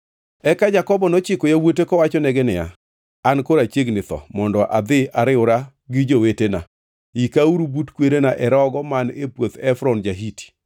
Eka Jakobo nochiko yawuote kowachonegi niya, “An koro achiegni tho mondo adhi ariwra gi jowetena, yikauru but kwerena e rogo man e puoth Efron ja-Hiti.